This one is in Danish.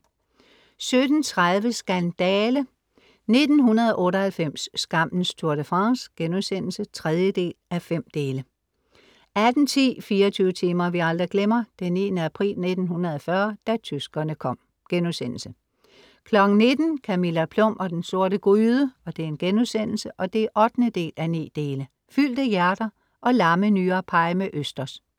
17:30 Skandale! 1998, skammens Tour de France* (3:5) 18:10 24 timer vi aldrig glemmer: 9. april 1940, da tyskerne kom* 19:00 Camilla Plum og den sorte gryde* (8:9) Fyldte hjerter og lammenyrepie med østers: